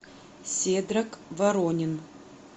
седрак воронин